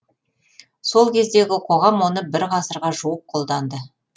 сол кездегі қоғам оны бір ғасырға жуық қолданды